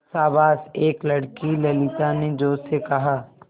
शाबाश एक लड़की ललिता ने जोश से कहा